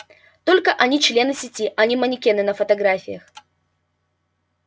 только они члены сети а не манекены на фотографиях